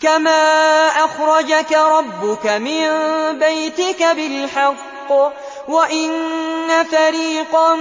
كَمَا أَخْرَجَكَ رَبُّكَ مِن بَيْتِكَ بِالْحَقِّ وَإِنَّ فَرِيقًا